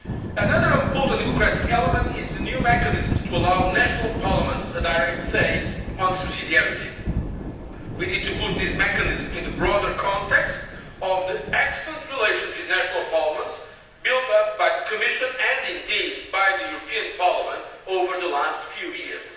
today. Another important democratic element is the new mechanisms to allow national parliaments a direct say on subsidiarity. We need to put these mechanisms in the broader context of the excellent relations with national parliaments built up by the Commission, and indeed the European Parliament, over the last few